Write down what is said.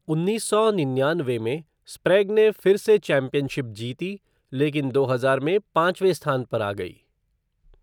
उन्नीस सौ निन्यानवे में, स्प्रेग ने फिर से चैंपियनशिप जीती लेकिन दो हजार में पांचवें स्थान पर आ गई।